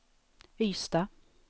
Ystad